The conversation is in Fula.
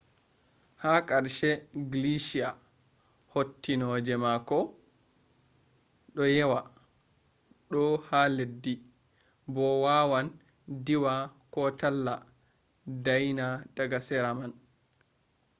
ha karshe gleeshia hattinooje makko makko do yewa do’a ha leddi bo waawan diwa ko talla dayna daga sera man